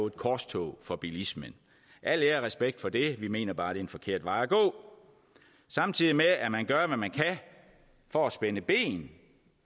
et korstog for bilismen al ære og respekt for det vi mener bare det er en forkert vej at gå samtidig med at man gør hvad man kan for at spænde ben